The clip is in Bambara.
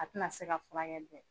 A tɛna se ka furkɛli kɛ